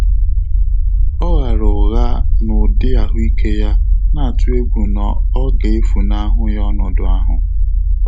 Ọ́ ghààrà ụ́ghá n’ụ́dị́ àhụ́ị́ké yá, nà-àtụ́ égwú nà ọ́ gà-éfúnáhụ́ yá ọnọ́dụ́ áhụ́.